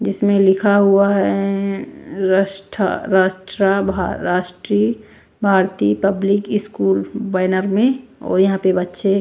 जिसमें लिखा हुआ है Rashtriya Bharati public school banner में और यहां पे बच्चे--